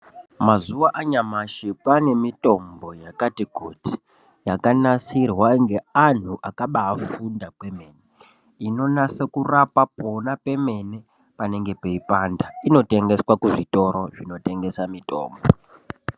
Mazuva anyamashi kwaanemitombo yakati kuti yakanasirwa ngeanhu akabaafunda kwemene. Inonyatsa kurapa pona pemene panenge peipanda. Inotengeswa kuzvitoro zvinotengesa mitombo.